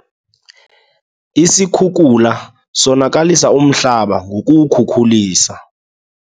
Isikhukula sonakalisa umhlaba ngokuwukhukulisa.